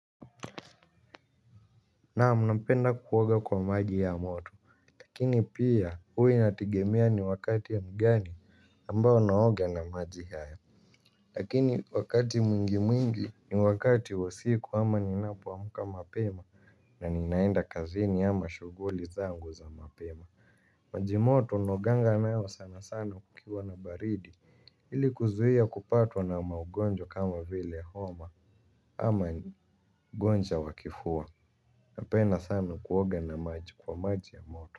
Naam napenda kuoga kwa maji ya moto lakini pia huwa inategemea ni wakati ya gani ambao naoga na maji haya lakini wakati mwingi mwingi ni wakati wa siku ama ninapoamka mapema na ninaenda kazini ama shughuli zangu za mapema maji moto naoganga nayo sana sana kukiwa na baridi ili kuzuia kupatwa na maugonjwa kama vile homa ama ugonjwa wa kifua napenda sana kuoga kwa maji ya moto.